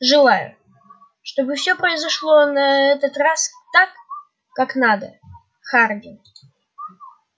желаю чтобы все произошло на этот раз так как надо хардин